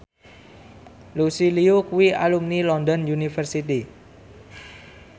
Lucy Liu kuwi alumni London University